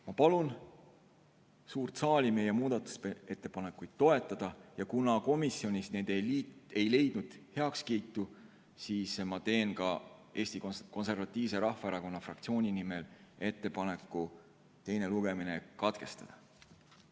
Ma palun suurt saali meie muudatusettepanekuid toetada ja kuna komisjonis need ei leidnud heakskiitu, siis ma teen ka Eesti Konservatiivse Rahvaerakonna fraktsiooni nimel ettepaneku teine lugemine katkestada.